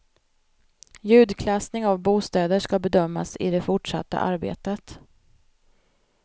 Ljudklassning av bostäder ska bedömas i det fortsatta arbetet.